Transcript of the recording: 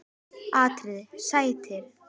atriði: Sættir?